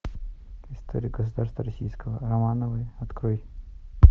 история государства российского романовы открой